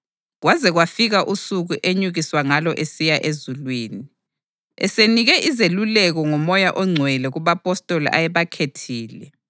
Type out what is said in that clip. kwaze kwafika usuku enyukiswa ngalo esiya ezulwini, esenike izeluleko ngoMoya oNgcwele kubapostoli ayebakhethile.